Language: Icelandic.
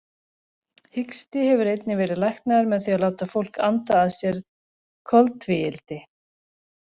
Hiksti hefur einnig verið læknaður með því að láta fólk anda að sér koltvíildi.